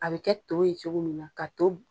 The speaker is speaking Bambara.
A bɛ kɛ to ye cogo min na ka to